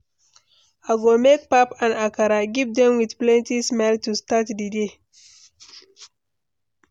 I go make pap and akara, give dem with plenty smile to start di day.